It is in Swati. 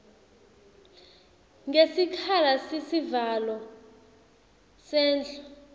ngesikhala sesivalo sendlu